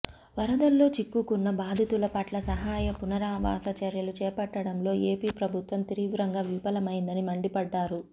వరదల్లో చిక్కుకున్న బాధితుల పట్ల సహాయ పునరావాస చర్యలు చేపట్టడంలో ఏపీ ప్రభుత్వం తీవ్రంగా విఫలమైందని మండిపడ్డారు